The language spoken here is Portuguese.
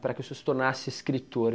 para que o senhor se tornasse escritor.